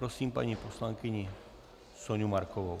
Prosím paní poslankyni Soňu Markovou.